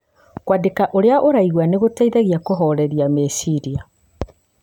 Kũandĩka ũrĩa ũraigua nĩ gũgũteithagia kũhooreria meciria.